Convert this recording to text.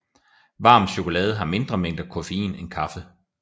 Varm chokolade har mindre mængder koffein end kaffe